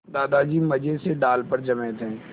दादाजी मज़े से डाल पर जमे थे